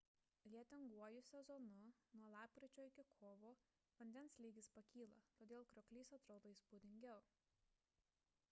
lietinguoju sezonu nuo lapkričio iki kovo vandens lygis pakyla todėl krioklys atrodo įspūdingiau